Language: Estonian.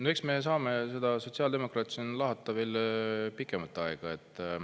No eks me saame seda sotsiaaldemokraate siin lahata veel pikemat aega.